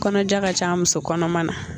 Kɔnɔja ka ca muso kɔnɔma na